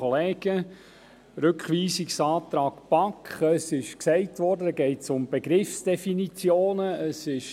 Rückweisungsantrag BaK: Es wurde gesagt, dass es dabei um Begriffsdefinitionen geht.